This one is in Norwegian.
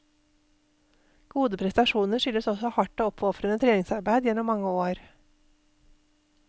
Gode prestasjoner skyldes også hardt og oppofrende treningsarbeid gjennom mange år.